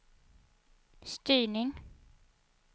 styrning